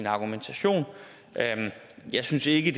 argumentation jeg synes ikke